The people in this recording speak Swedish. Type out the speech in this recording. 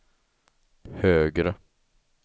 högre